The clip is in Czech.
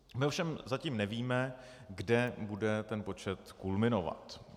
My ovšem zatím nevíme, kde bude ten počet kulminovat.